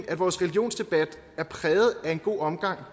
at vores religionsdebat er præget af en god omgang